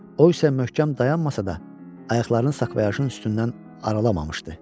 O isə möhkəm dayanmasa da, ayaqlarını sakvoyajın üstündən aralamamışdı.